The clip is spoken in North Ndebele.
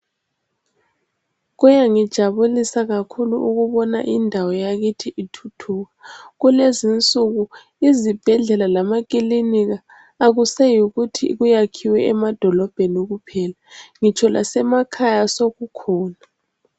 Kuyangithokozisa kakhulu ukubona indawo yakithi ithuthuka kulezinsuku izibhedlela lamakilinika akuseyikuthi kuyakhiwe emadolobheni kuphela ngitsho lasemakhaya sokukhona.